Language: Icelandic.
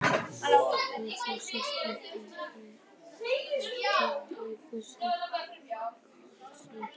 Af þessum sökum varð ekki hlaup samhliða gosinu.